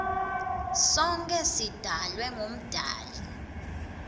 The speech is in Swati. sonkhe sidalwe ngumdali